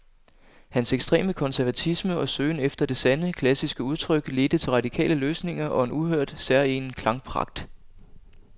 Hans ekstreme konservatisme og søgen efter det sande, klassiske udtryk ledte til radikale løsninger og en uhørt, særegen klangpragt.